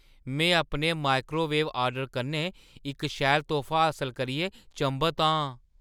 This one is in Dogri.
में अपने माइक्रोवेव ऑर्डर कन्नै इक शैल तोह्फा हासल करियै चंभत आं।